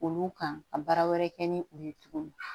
Olu kan ka baara wɛrɛ kɛ ni u ye tuguni